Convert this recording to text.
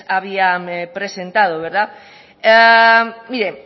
habían presentado mire